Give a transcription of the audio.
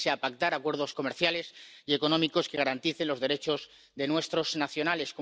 Hay que ponerse a pactar acuerdos comerciales y económicos que garanticen los derechos de nuestros nacionales.